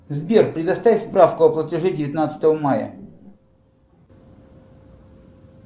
сбер предоставь справку о платеже девятнадцатого мая